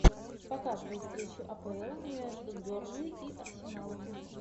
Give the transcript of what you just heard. показывай встречу апл между бернли и арсеналом